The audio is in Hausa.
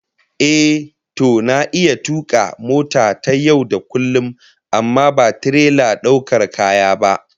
Ehh, to na iya tuka mota ta yau da kullum amma ba tirelar daukar kaya ba